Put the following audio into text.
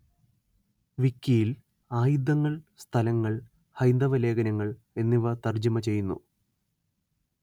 വിക്കിയില്‍ ആയുധങ്ങള്‍ സ്ഥലങ്ങള്‍ ഹൈന്ദവ ലേഖനങ്ങള്‍ എന്നിവ തര്‍ജ്ജമ ചെയ്യുന്നു